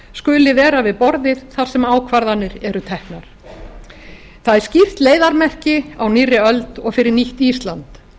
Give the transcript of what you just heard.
skuli vera við borðið þar sem ákvarðanir eru teknar það er skýrt leiðarmerki á nýrri öld og fyrir nýtt ísland